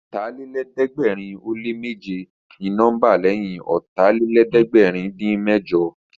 Ọ̀tàlélẹ̀ẹ́dẹ́gbẹ̀rin ó lé méje ni nọ́mbà lẹ́yìn Ọ̀tàlélẹ̀ẹ́dẹ́gbẹ̀rin-dín-mẹ́jọ